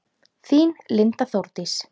Þín Linda Þórdís.